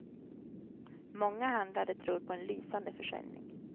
Många handlare tror på en lysande försäljning.